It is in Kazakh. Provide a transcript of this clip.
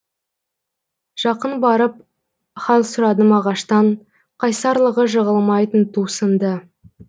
жақын барып хал сұрадым ағаштан қайсарлығы жығылмайтын ту сынды